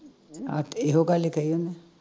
ਆਹ ਤੇ ਇਹੋ ਗੱਲ ਕਹੀ ਉਹਨੂੰ